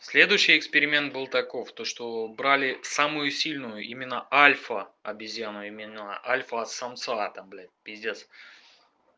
следующий эксперимент был таков то что брали самую сильную именно альфа обезьяну именно альфа-самца там блядь пиздец